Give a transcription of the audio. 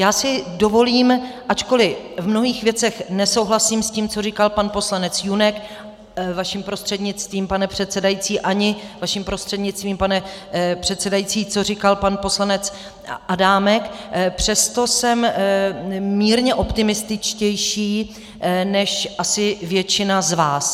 Já si dovolím, ačkoliv v mnohých věcech nesouhlasím s tím, co říkal pan poslanec Junek vaším prostřednictvím, pane předsedající, ani vaším prostřednictvím, pane předsedající, co říkal pan poslanec Adámek, přesto jsem mírně optimističtější než asi většina z vás.